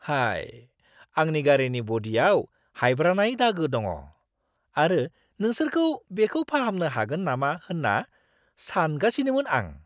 हाय! आंनि गारिनि ब'डिआव हायब्रानाय दागो दङ, आरो नोंसोरखौ बेखौ फाहामनो हागोन नामा होन्ना सानगासिनोमोन आं!